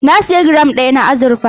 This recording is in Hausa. Na sayi giram ɗaya na azurfa.